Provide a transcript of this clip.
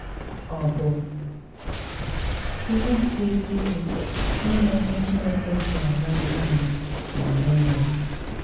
Ọ̀ bụ̀ ihe siri ike ịmà ihe Chineke chọrọ̀ n’aka anyị, ma mee ya?